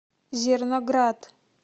зерноград